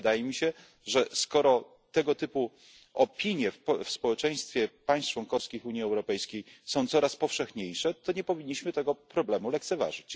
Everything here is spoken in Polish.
Ale wydaje mi się, że skoro tego typu opinie w społeczeństwach państw członkowskich Unii Europejskiej są coraz powszechniejsze, to nie powinniśmy tego problemu lekceważyć.